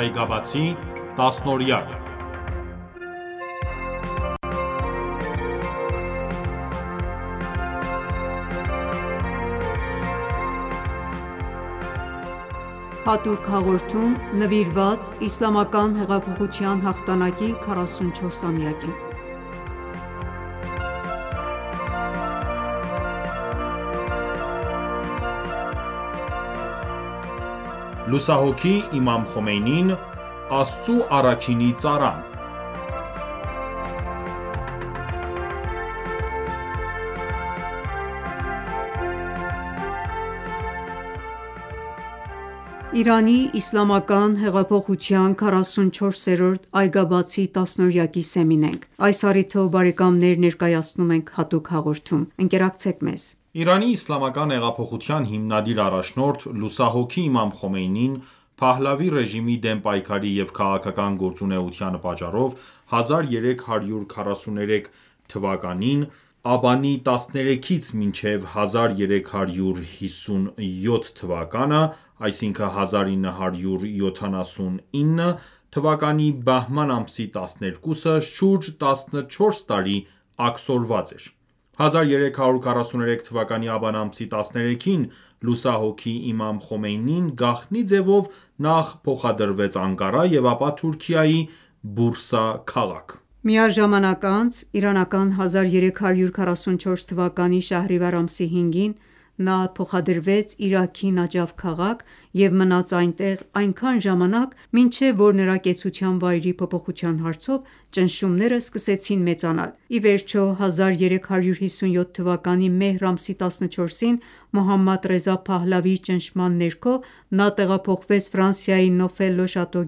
Այգաբացի տասնօրյակ(1. Հատուկ հաղորդում նվիրված Իսլամական հեղափոխության հաղթանակի 44-ամյակին) Լուսահոգի Իմամ Խոմեյնին՝ Աստծու առաքինի ծառան: Իրանի Իսլամական հեղափոխության 44-րդ «Այգաբացի տասնօրյակ»-ի սեմին ենք:Այս առիթով ներկայացնում ենք հատուկ հաղորդում: Ընկերակցեք մեզ: Իրանի իսլամական հեղափոխության հիմնադիր առաջնորդ՝լուսահոգի Իմամ Խոմեյնին ,Փահլավի ռեժիմի դեմ պայքարի և քաղաքական գործունեության պատճառով 1343(1964) թվականի աբանի 13-ից մինչև 1357(1978) թվականի բահման ամսի 12-ը շուրջ 14 տարի աքսորված էր: 1343 թվականի աբան ամսի 13-ին լուսահոգի Իմամ Խոմեյնին գաղտնի ձևով նախ փոխադրվեց Անկարա և ապա Թուրքիայի Բուրսա քաղաք: Միառժամանակ անց ,1344 թվականի Շահրիվար ամսի 5-ին ,նա փոխադրվեց Իրաքի Նաջաֆ քաղաքը և մնաց այնտեղ այնքան ժամանակ մինչև որ նրա կեցության վայրի փոփոխության հարցով ճնշումները սկսեցին մեծանալ: Իվերջո 1357 թվականի Մեհր ամսի 14-ին Մոհամադ Ռեզա Փահլավիի ճնշման ներքո ,նա տեղափոխվեց Ֆրանսիայի Նոֆել Լոշատո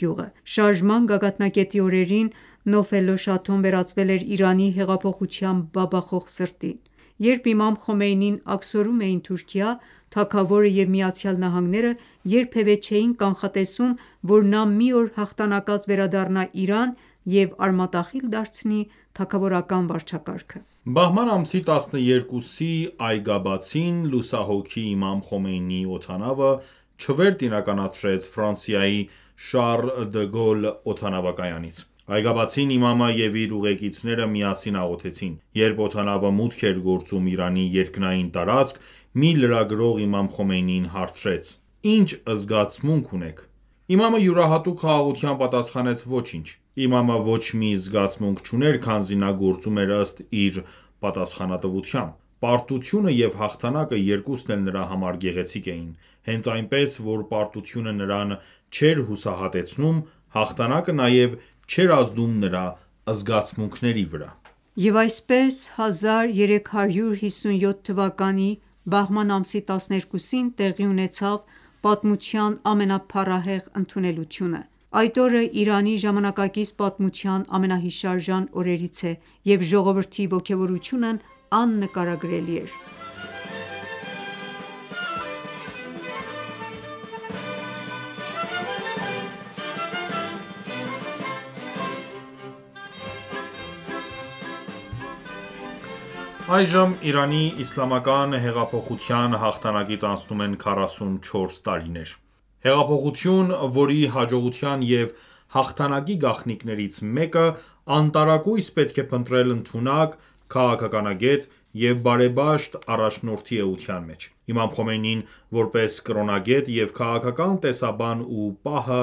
գյուղը: Շարժման գագաթնակետի օրերին Նոֆել Լոշաթոն վերածվել էր Իրանի հեղափոխության բաբախող սրտին: Երբ Իմամ Խոմեյնիին աքսորում էին Թուրքիա ,թագավորը և ԱՄՆ-ը երբևէ չէին կանխատեսում ,որ նա մի օր հաղթանակած վերադառնա Իրան և արմատախիլ դարձնի թագավորական վարչակարգը: Բահման ամսի 12-ի այգաբացին, լուսահոգի Իմամ Խոմեյնիի օդանավը չվերթ իրականացրեց Ֆրանսիայի Շառլ դը Գոլ օդանավակայանից: Այգաբացին ,իմամը և իր ուղեկիցները միասին աղոթեցին: Երբ օդանավը մուտք էր գործում Իրանի երկնային տարածք, մի լրագրող Իմամ Խոմեյնիին հարցրեց .«Ի՞նչ զգացմունք ունեք»:Իմամը յուրահատուկ խաղաղությամբ պատասխանեց.«Ոչինչ»: Իմամը ոչ մի զգացմունք չուներ, քանզի նա գործում էր ըստ իր պատասխանատվության: Պարտությունը և հաղթանակը երկուսն էլ նրա համար գեղեցիկ էին: Հենց այնպես որ պարտությունը նրան չէր հուսահատեցնում ,հաղթանակը նաև չէր ազդում նրա զգացմունքների վրա: Եվ այսպես, 1357թվականի Բահմանի 12-ին (1978) տեղի ունեցավ պատմության ամենափառահեղ ընդունելությունը։ Այդ օրը Իրանի ժամանակակից պատմության ամենահիշարժան օրերից է, եւ ժողովրդի ոգեւորությունն աննկարագրելի էր։ Այժմ Իրանի Իսլամական Հեղափոխության հաղթանակից անցնում են 44 տարիներ: Հեղափոխություն, որի հաջողության և հաղթանակի գաղտնիքներից մեկը անտարակույս պետք է փնտրել ընդունակ, քաղաքականագետ և բարեպաշտ առաջնորդի էության մեջ: Իմամ Խոմեյնին ,որպես կրոնագետ և քաղաքական տեսաբան ու պահը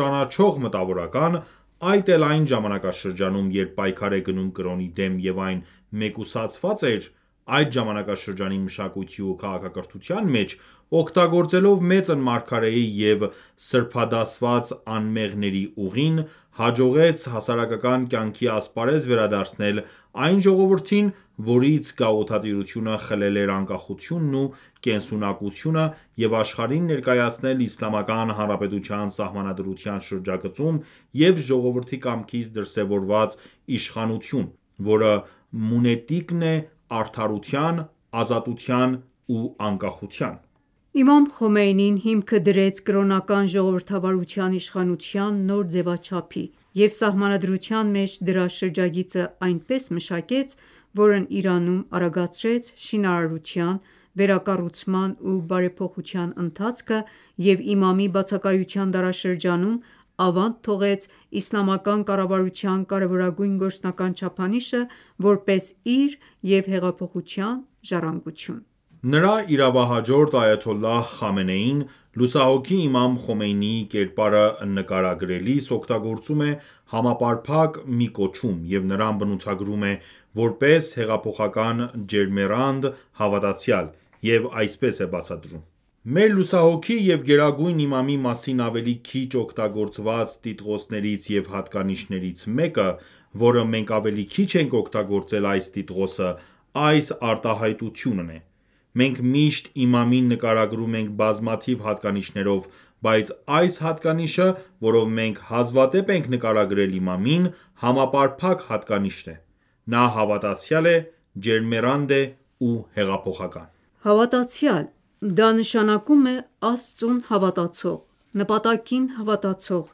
ճանաչող մտավորական ,այդ էլ այն ժամանակաշրջանում երբ պայքար է գնում կրոնի դեմ և այն մեկուսացված էր, այդ ժամանակաշրջանի մշակույթի ու քաղաքակրթության մեջ ,օգտագործելով մեծն մարգարեի եւ սրբադասված անմեղների ուղին ,հաջողեց հասարակական կյանքի ասպարեզ վերադարձնել այն ժողովրդին ,որից գաղութատիրությունը խլել էր անկախությունն ու կենսունակությունը և աշխարհին ներկայացնել Իսլամական Հանրապետության Սահմանադրության շրջագծում և ժողովրդի կամքից դրսևորված իշխանություն ,որը մունետիկն է արդարության ,ազատության ու անկախության: Նա հիմքը դրեց կրոնական ժողովրդավարության իշխանության նոր ձևաչափի և Սահմանադրության մեջ դրա շրջագիծը այնպես մշակեց, որը Իրանում արագացրեց շինարարության, վերակառուցման ու բարեփոխության ընթացքը և իմամի բացակայության դարաշրջանում ,ավանդ թողեց իսլամական կառավարության կարևորագույն գործնական չափանիշը, որպես իր և հեղափոխության ժառանգություն: Նրա իրավահաջորդ Այաթոլլահ Խամենեին ,լուսահոգի Իմամ Խոմեյնիի կերպարը նկարագրելիս օգտագործում է համապարփակ մի կոչում և նրան բնութագրում է որպես «հեղափոխական ջերմեռանդ հավատացյալ» և այսպես է բացատրում .« Մեր լուսահոգի և գերագույն իմամի մասին ավելի քիչ օգտագործված տիտղոսներից և հատկանիշներից մեկը, որը մենք ավելի քիչ ենք օգտագործել այս տիտղոսը, այս արտահայտությունն է: Մենք միշտ իմամին նկարագրում ենք բազմաթիվ հատկանիշներով, բայց այս հատկանիշը, որով մենք հազվադեպ ենք նկարագրել Իմամին, համապարփակ հատկանիշ է: Նա հավատացյալ է, ջերմեռանդ է ու հեղափոխական։ Հավատացյալ: Դա, նշանակում է Աստծուն հավատացող, նպատակին հավատացող,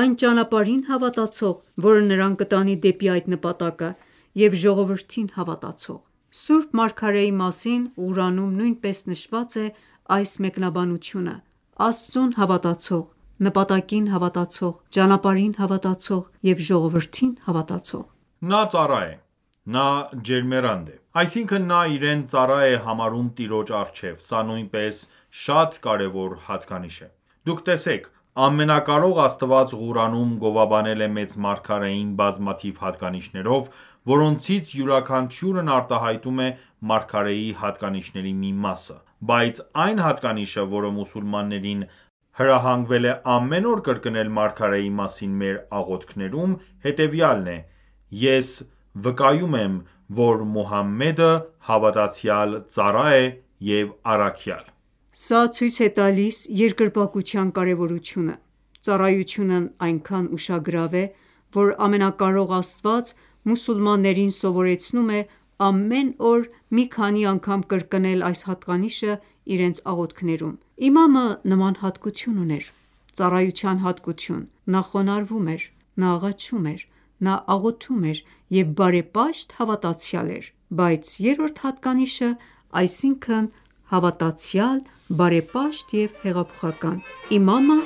այն ճանապարհին հավատացող, որը նրան կտանի դեպի այդ նպատակը և ժողովրդին հավատացող: Սուրբ Մարգարեի մասին Ղուրանում նույնպես նշված է այս մեկնաբանությունը՝ Աստծուն հավատացող, նպատակին հավատացող, ճանապարհին հավատացող և ժողովրդին հավատացող: Նա ծառա է, նա ջերմեռանդ է: Այսինքն՝ նա իրեն ծառա է համարում Տիրոջ առջև, սա նույնպես շատ կարևոր հատկանիշ է: Դուք տեսեք, Ամենակարող Աստված Ղուրանում գովաբանել է Մեծ Մարգարեին բազմաթիվ հատկանիշներով, որոնցից յուրաքանչյուրն արտահայտում է Մարգարեի հատկանիշների մի մասը: Բայց այն հատկանիշը, որը մուսուլմաններին, հրահանգվել է ամեն օր կրկնել Մարգարեի մասին մեր աղոթքներում, հետևյալն է՝ «Ես վկայում եմ, որ Մուհամմեդը հավատացյալ ծառա է և առաքյալ»: Սա ցույց է տալիս երկրպագության կարևորությունը: Ծառայությունն այնքան ուշագրավ է, որ Ամենակարող Աստված մուսուլմաններին սովորեցնում է ամեն օր մի քանի անգամ կրկնել այս հատկանիշը իրենց աղոթքներում:Իմամը նման հատկություն ուներ ,ծառայության հատկություն: Նա խոնարհվում էր, նա աղաչում էր, նա աղոթում էր և բարեպաշտ հավատացյալ էր: Բայց երրորդ հատկանիշը, այսինքն՝ հավատացյալ, բարեպաշտ և հեղափոխական... Իմամը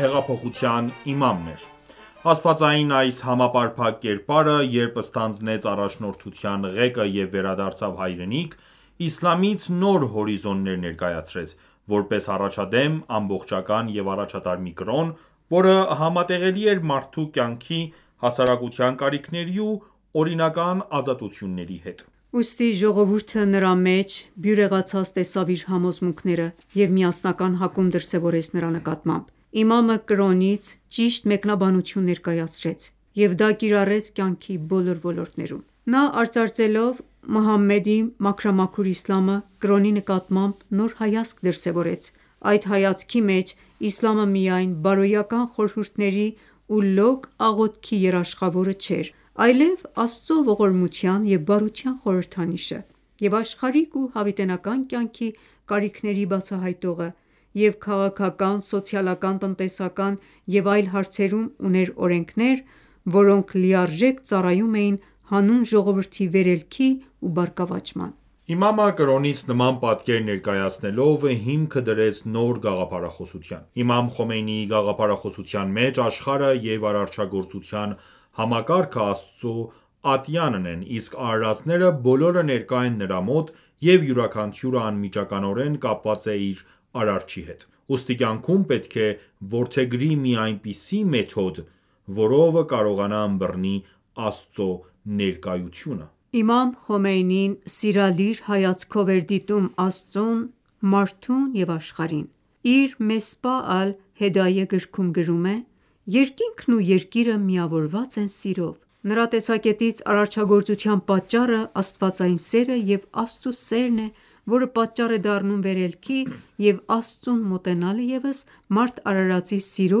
հեղափոխության իմամն էր։ Աստվածային այս համապարփակ կերպարը, երբ ստանձնեց առաջնորդության ղեկը և վերադարձավ հայրենիք, իսլամից նոր հորիզոններ ներկայացրեց, որպես առաջադեմ, ամբողջական և առաջատար մի կրոն, որը համատեղելի էր մարդու կյանքի, հասարակության կարիքների ու օրինական ազատությունների հետ: Ուստի ժողովուրդը նրա մեջ բյուրեղացած տեսավ իր համոզմունքները և միասնական հակում դրսևորեց նրա նկատմամբ։ Իմամը կրոնից ճիշտ մեկնաբանություն ներկայացրեց և դա կիրառեց կյանքի բոլոր ոլորտներում: Նա արծարծելով «Մուհամմեդի մաքրամաքուր Իսլամը» կրոնի նկատմամբ նոր հայացք դրսևորեց: Այդ հայացքի մեջ ,Իսլամը միայն բարոյական խորհուրդների ու լոկ աղոթքի երաշխավորը չէր: Այլև Աստծո ողորմության և բարության խորհրդանիշը և աշխարհիկ ու հավիտենական կյանքի կարիքների բացահայտողը և քաղաքական, սոցիալական, տնտեսական և այլն հարցերում ուներ օրենքներ, որոնք լիարժեք ծառայում էին հանուն ժողովրդի վերելքի ու բարգավաճման: Իմամը կրոնից նման պատկեր ներկայացնելով ,հիմքը դրեց նոր գաղափարախոսության: Իմամ Խոմեյնիի գաղափարախոսության մեջ, աշխարհը և արարչագործության համակարգը Աստծո ատյանն են, իսկ արարածները բոլորը ներկա են նրա մոտ, և յուրաքանչյուրը անմիջականորեն կապված է իր արարչի հետ: Ուստի կյանքում պետք է որդեգրի մի այնպիսի մեթոդ, որով կարողանա ըմբռնի Աստծո ներկայությունը: Իմամ Խոմեյնին սիրալիր հայացքով էր դիտում Աստծուն, մարդուն և աշխարհին: Իր «Մեսբահ ալ -Հեդայե»գրքում գրում է՝Երկինքն ու երկիրը միավորված են սիրով: Նրա տեսակետից, արարչագործության պատճառը ՝ Աստվածային սերը և Աստծու սերն է, որը պատճառ է դառնում վերելքի և Աստծուն մոտենալը ևս մարդ արարածի սիրո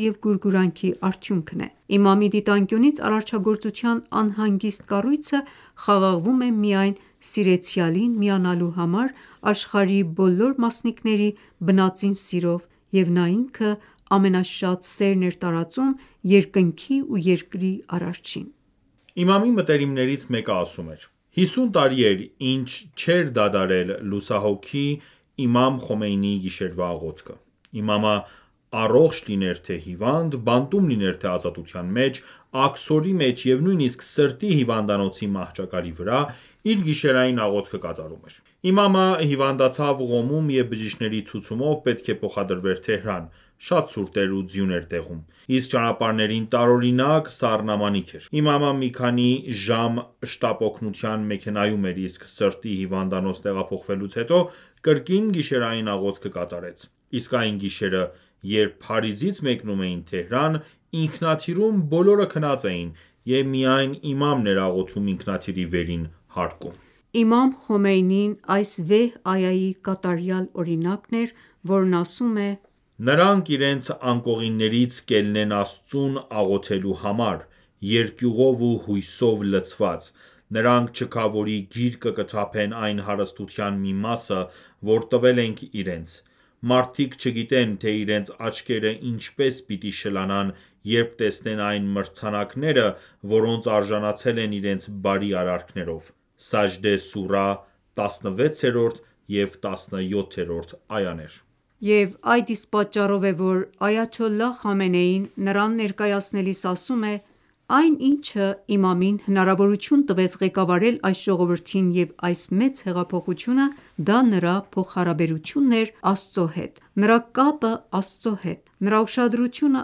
և գուրգուրանքի արդյունքն է: Իմամի դիտանկյունից արարչագործության անհանգիստ կառույցը խաղաղվում է միայն Սիրեցյալին միանալու համար աշխարհի բոլոր մասնիկների բնածին սիրով և նա ինքը ամենաշատ սերն էր տածում երկնքի ու երկրի արարչին: Իմամի մտերիմներից մեկը ասում էր.«50 տարի էր ինչ չէր դադարել լուսահոգի իմամ Խոմեյնիի գիշերվա աղոթքը: Իմամը առողջ լիներ թե՝ հիվանդ, բանտում լիներ թե՝ազատության մեջ, աքսորի մեջ և նույնիսկ սրտի հիվանդանոցի մահճակալի վրա ,իր գիշերային աղոթքը կատարում էր: Իմամը հիվանդացավ Ղոմում և բժշկների ցուցումով պետք է փոխադրվեր Թեհրան, շատ ցուրտ էր ու ձյուն էր տեղում, իսկ ճանապարհներին տարօրինակ սառնամանիք էր, իմամը մի քանի ժամ շտապօգնության մեքենայում էր, իսկ սրտի հիվանդանոց տեղափոխվելուց հետո կրկին գիշերային աղոթքը կատարեց։ Իսկ այն գիշերը, երբ Փարիզից մեկնում էին Թեհրան, ինքնաթիռում բոլորը քնած էին, և միայն իմամն էր աղոթում ինքնաթիռի վերին հարկում... Իմամ Խոմեյնին այս վեհ այայի կատարյալ օրինակն էր, որն ասում է. «Նրանք իրենց անկողիններից կելնեն Աստծուն աղոթելու համար` երկյուղով ու հույսով լցված: Նրանք չքավորի գիրկը կթափեն այն հարստության մի մասը, որ տվել ենք իրենց:Մարդիկ չգիտեն, թե իրենց աչքերը ինչպես պիտի շլանան, երբ տեսնեն այն մրցանակները, որոնց արժանացել են իրենց բարի արարքներով: (Սաջդե սուրահ 16-րդ եւ 17-րդ այաներ): Եվ այդ իսկ պատճառով է ,որ Այաթոլլահ Խամենեին նրան ներկայացնելիս ասում է.« Այն, ինչը իմամին հնարավորություն տվեց ղեկավարել այս ժողովրդին և այս մեծ հեղափոխությունը, դա նրա փոխհարաբերությունն էր Աստծո հետ, նրա կապը Աստծո հետ, նրա ուշադրությունը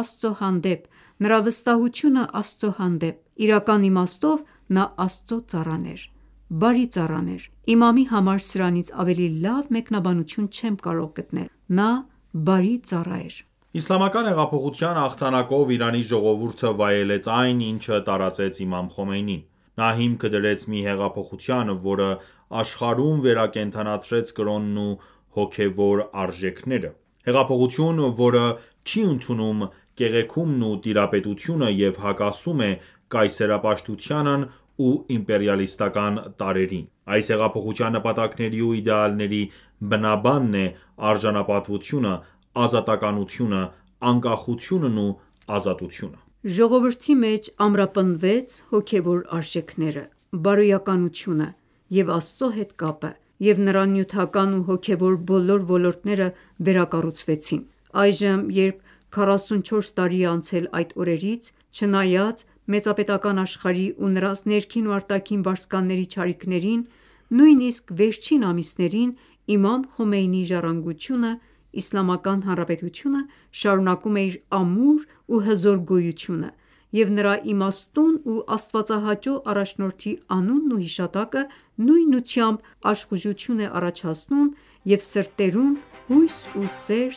Աստծո հանդեպ, նրա վստահությունն Աստծո հանդեպ:Իրական իմաստով նա Աստծո ծառան էր, բարի ծառա էր: Իմամի համար սրանից ավելի լավ մեկնաբանություն չեմ կարող գտնել. նա ,բարի ծառա էր»: Իսլամական հեղափոխության հաղթանակով Իրանի ժողովուրդը վայելեց այն ,ինչը տարածեց Իմամ Խոմեյնին: Նա հիմքը դրեց մի հեղափոխության, որը աշխարհում վերակենդանացրեց կրոնն ու հոգևոր արժեքները: Հեղափոխություն, որը չի ընդունում կեղեքումն ու տիրապետությունը և հակասում է կայսերապաշտությանն ու իմպերիալիստական տարրերին։ Այս հեղափոխության նպատակների ու իդեալների բնաբանն է՝արժանապատվությունը, ազատականությունը անկախությունն ու ազատությունը: Ժողովրդի մեջ ամրապնդվեց հոգեւոր արժեքները, բարոյականությունը և Աստծո հետ կապը և նրա նյութական ու հոգեւոր բոլոր ոլորտները վերակառուցվեցին: Այժմ, երբ քառասունչորս տարի է անցել այդ օրերից, չնայած մեծապետական աշխարհի ու նրանց ներքին ու արտաքին վարձկանների չարիքներին, նույնիսկ վերջին ամիսներին, իմամ Խոմեյնիի ժառանգությունը՝ Իսլամական Հանրապետությունը, շարունակում է իր ամուր ու հզոր գոյությունը և նրա իմաստուն ու աստվածահաճո առաջնորդի անունն ու հիշատակը նույնությամբ աշխուժություն է ստեղծում և սրտերում հույս ու սեր